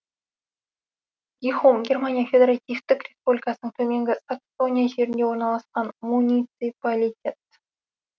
гихум германия федеративтік республикасының төменгі саксония жерінде орналасқан муниципалитет